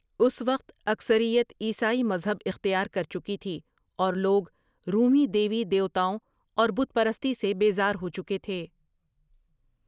اس وقت اکثریت عیسائی مذہب اختیار کر چکی تھی اور لوگ رومی دیوی دیوتاؤں اور بت پرستی سے بیزار ہو چکے تھے ۔